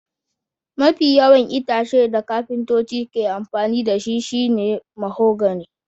Mafi yawan itacen da kafintoci ke amfani da shi shine mahogany